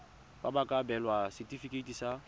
ba ka abelwa setefikeiti sa